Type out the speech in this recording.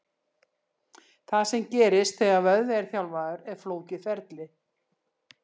Það sem gerist þegar vöðvi er þjálfaður er flókið ferli.